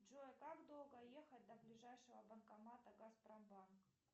джой как долго ехать до ближайшего банкомата газпромбанк